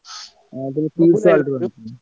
ଆଣିଥିଲି ।